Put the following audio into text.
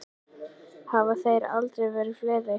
Hafa þeir aldrei verið fleiri.